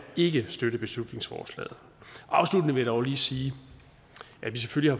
ikke støtte beslutningsforslaget afsluttende vil jeg dog lige sige at vi selvfølgelig